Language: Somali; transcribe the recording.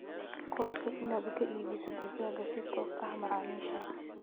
Qorshee inaad ka iibiso digaag si toos ah macaamiisha.